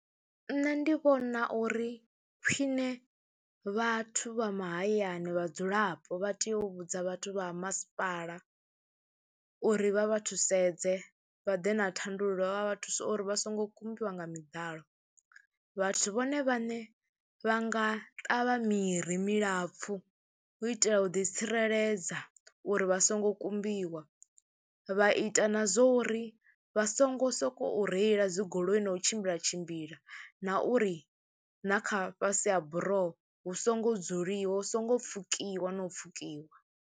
Nṋe ndi vhona uri khwine vhathu vha mahayani vhadzulapo vha tea u vhudza vhathu vha ha masipala uri vha vha thusedze vha ḓe na thandululo, vha vha thuse uri vha songo kumbiwa nga miḓalo. Vhathu vhone vhaṋe vha nga ṱavha miri milapfhu hu itela u ḓitsireledza uri vha songo kumbiwa, vha ita na zwo uri vha songo sokou reila dzi goloi na u tshimbila tshimbila na uri na kha fhasi ha buroho hu songo dzuliwa, hu songo pfhukiwa no pfhukiwa.